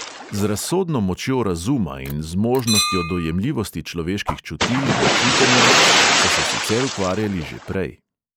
Z razsodno močjo razuma in zmožnostjo dojemljivosti človeških čutil in čutenja so se sicer ukvarjali že prej.